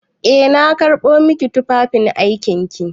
Eh na karɓo maki tufafin aikin ki.